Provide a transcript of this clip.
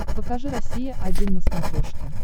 покажи россия один на смотрешке